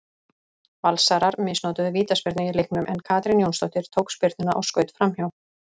Valsarar misnotuðu vítaspyrnu í leiknum en Katrín Jónsdóttir tók spyrnuna og skaut framhjá.